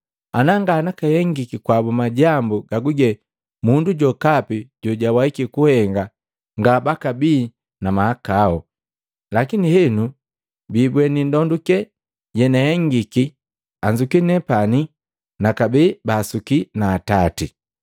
Ana nganakahengiki kwabu majambu gaguge mundu jokapi jojawaiki kuhenga ngabakabii na mahakao, lakini henu biibweni ndonduke yenahengiki anzuki nepani nakabee baasuki na Atati.